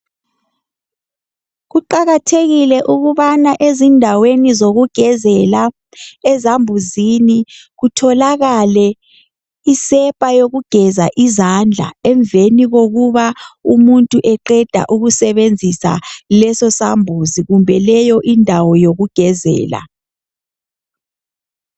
Kuqakathekile ukubana ezindaweni zokugezela ezambuzini kutholakale isepa yokugeza izandla emveni kokuba umuntu eqeda ukusebenzisa leso sambuzi kumbe leyo indawo yokugezela.